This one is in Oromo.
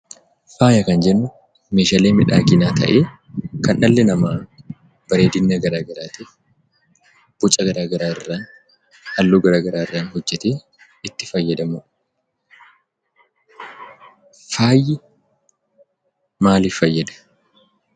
Faaya kan jennu meeshaalee miidhaginaa ta'ee kan dhalli namaa bareedina garaa garaatiif, boca garaa garaarraa, halluu gara garaarraa hojjetee itti fayyadamudha .Faayi maalif fayyada?